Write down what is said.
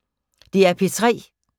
DR P3